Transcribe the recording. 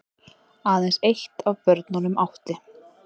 Aðeins eitt af börnunum átti